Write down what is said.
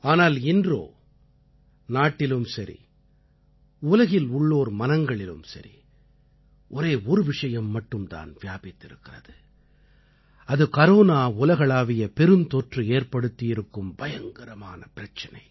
ஆனால் இன்றோ நாட்டிலும் சரி உலகில் உள்ளோர் மனங்களிலும் சரி ஒரே ஒரு விஷயம் மட்டும் தான் வியாபித்து இருக்கிறது அது கரோனா உலகளாவிய பெருந்தொற்று ஏற்படுத்தியிருக்கும் பயங்கரமான பிரச்சனை